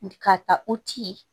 Ka ta o ci